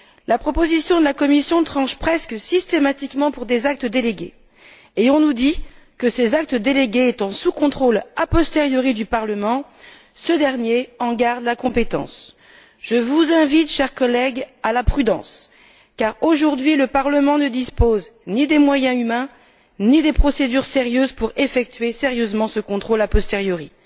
La proposition de la Commission tranche presque systématiquement pour des actes délégués, et on nous dit que, ces actes délégués étant sous contrôle a posteriori du Parlement, ce dernier en garde la compétence. Chers collègues, je vous invite à la prudence car, aujourd'hui, le Parlement ne dispose ni des moyens humains ni des procédures nécessaires pour effectuer sérieusement ce contrôle a posteriori.